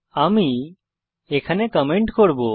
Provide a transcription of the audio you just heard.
আমি এখানে কমেন্ট করব